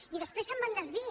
i després se’n van desdir